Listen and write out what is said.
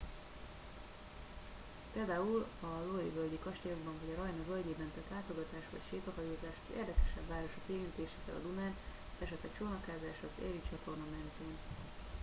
például a loire völgyi kastélyokban vagy a rajna völgyében tett látogatás vagy sétahajózás az érdekesebb városok érintésével a dunán esetleg csónakázás az erie csatorna mentén